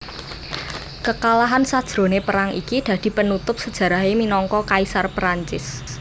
Kekalahan sajroné perang iki dadi penutup sejarahé minangka Kaisar Prancis